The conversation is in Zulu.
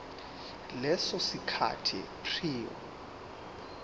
leso sikhathi prior